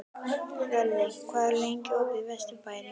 Hlölli, hvað er lengi opið í Vesturbæjarís?